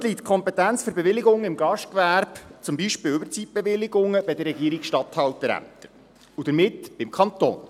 Heute liegt die Kompetenz für Bewilligungen im Gastgewerbe, wie zum Beispiel Überzeitbewilligungen, bei den Regierungsstatthalterämtern, und damit beim Kanton.